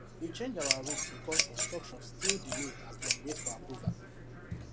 we change our road because construction still delay as dem wait for approval